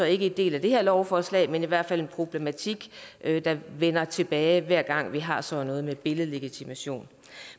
ikke en del af det her lovforslag men i hvert fald en problematik der vender tilbage hver gang vi har sådan noget med billedlegitimation